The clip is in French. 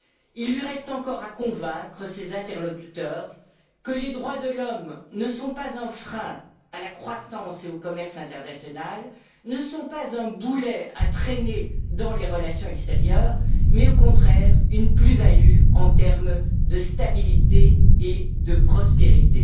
Il lui reste encore à convaincre ses interlocuteurs que les droits de l'homme ne sont pas un frein à la croissance et au commerce international, ne sont pas un boulet à traîner dans les relations extérieures, mais au contraire, une plus value en termes de stabilité et de prospérité.